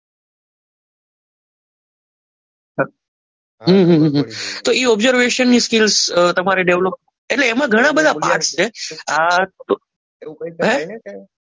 તોય ઓબ્ઝર્વેશનની સ્કીલ તમારી ડેવલપ કરવાની એટલે એમાં ઘણા બધા પાર્ટ છે.